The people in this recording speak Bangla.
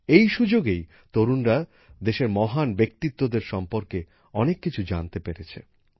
এই সুযোগেই তরুণরা দেশের মহান ব্যক্তিত্বদের সম্পর্কে অনেক কিছু জানতে পেরেছে